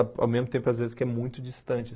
Ao mesmo tempo, às vezes, que é muito distante.